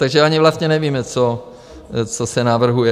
Takže ani vlastně nevíme, co se navrhuje.